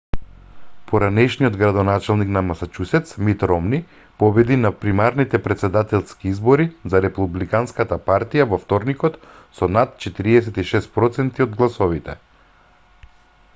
поранешниот градоначалник на масачусетс мит ромни победи на примарните претседателски избори за републиканската партија во вторникот со над 46 проценти од гласовите